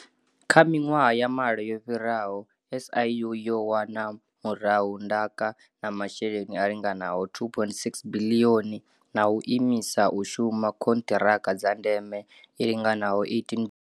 Kha miṅwaha ya malo yo fhiraho, SIU yo wana murahu ndaka na masheleni a linganaho R2.6 biḽioni na u imisa u shuma khonṱiraka dza ndeme i linganaho R18 biḽioni.